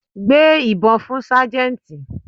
Gbé ìbọn fún Sájẹ́ntì.